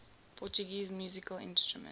portuguese musical instruments